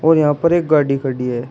और यहां पर एक गाड़ी खड़ी है।